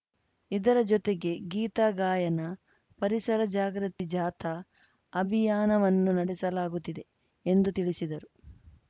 ಇದರ ಜೊತೆಗೆ ಗೀತಾ ಗಾಯನ ಪರಿಸರ ಜಾಗೃತಿ ಜಾಥಾ ಅಭಿಯಾನವನ್ನು ನಡೆಸಲಾಗುತ್ತಿದೆ ಎಂದು ತಿಳಿಸಿದರು